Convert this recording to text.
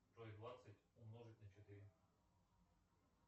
джой двадцать умножить на четыре